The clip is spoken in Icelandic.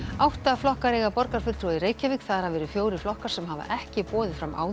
átta flokkar eiga borgarfulltrúa í Reykjavík þar af eru fjórir flokkar sem hafa ekki boðið fram áður